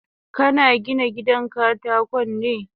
Kana Gina gidan katakon ne?